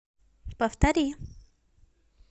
повтори